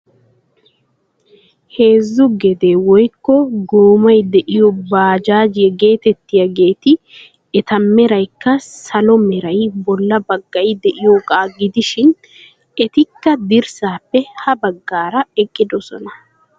Heezzu gedee woykko goomay de'iyoo bajaajiyaa getettiyaageti eta meraykka salo meray bolla baggay de'iyoogaa gidishin etikka dirssaappe ha baggaara eqqidosona.